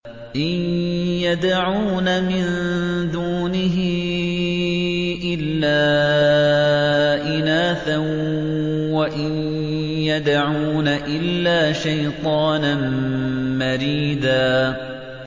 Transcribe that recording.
إِن يَدْعُونَ مِن دُونِهِ إِلَّا إِنَاثًا وَإِن يَدْعُونَ إِلَّا شَيْطَانًا مَّرِيدًا